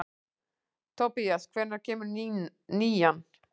Tobías, hvenær kemur nían?